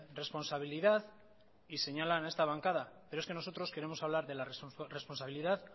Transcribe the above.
responsabilidad y señalan a esta bancada pero es que nosotros queremos hablar de la responsabilidad